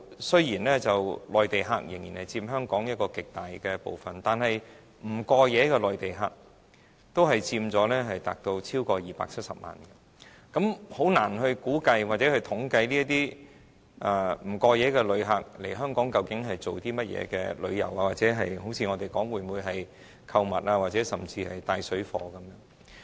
雖然現在內地客仍然佔香港遊客極大部分，但不過夜的內地客佔超過270萬人，我們難以估計或統計，究竟這些不過夜旅客來港是做甚麼，是旅遊還是否如我們說，是來購物，甚至是從事"帶水貨"的活動？